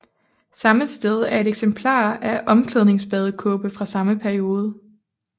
Samme sted er et eksemplar af omklædningsbadekåbe fra samme periode